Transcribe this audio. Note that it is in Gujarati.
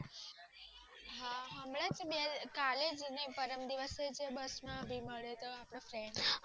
કાલે જ હાજી પરમ દિવસે જ બસ માં ભી માંડેલો